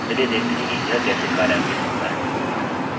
चलिए देखते हैं कि यह कैसे कार्यान्वित होता हैं